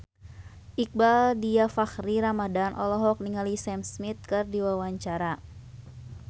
Iqbaal Dhiafakhri Ramadhan olohok ningali Sam Smith keur diwawancara